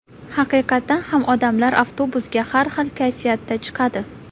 Haqiqatan ham odamlar avtobusga har xil kayfiyatda chiqadi.